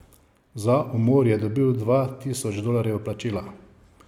Za umor je dobil dva tisoč dolarjev plačila.